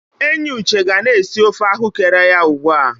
Enyi Uche ga na-esi ofe ahụ́kere ya ugbu a.